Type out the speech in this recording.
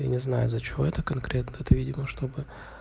я не знаю за что это конкретно это видимо чтобы